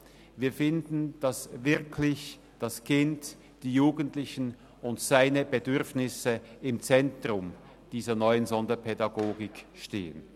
Wir finden, dass wirklich das Kind, die Jugendlichen und deren Bedürfnisse im Zentrum dieser neuen Sonderpädagogik stehen.